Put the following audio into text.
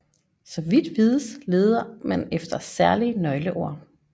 Så vidt vides leder man efter særlige nøgleord